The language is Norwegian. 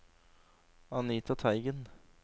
Anita Teigen